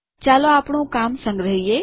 ચાલો આપણું કામ સંગ્રહીયે